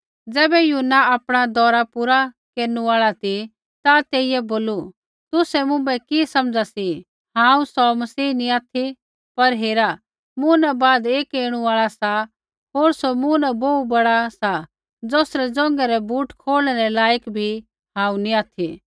ज़ैबै यूहन्ना आपणा दौरा पूरा केरनु आल़ा ती ता तेइयै बोलू तुसै मुँभै कि समझ़ा सी हांऊँ सौ मसीह नी ऑथि पर हेरा मूँ न बाद एक ऐणु आल़ा सा होर सौ मूँ न बोहू बड़ा सा ज़ौसरी ज़ोंघै रै बूट खोलणै रै लायक बी हांऊँ नैंई ऑथि